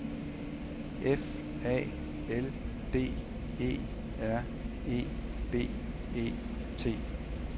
F A L D E R E B E T